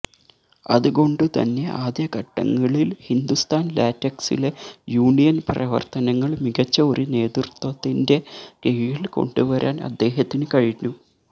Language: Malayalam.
അതുകൊണ്ടുതന്നെ ആദ്യഘട്ടങ്ങളില് ഹിന്ദുസ്ഥാന് ലാറ്റക്സിലെ യൂണിയന് പ്രവര്ത്തനങ്ങള് മികച്ച ഒരു നേതൃത്വത്തിന്റെ കീഴില് കൊണ്ടുവരാന് അദ്ദേഹത്തിന് കഴിഞ്ഞു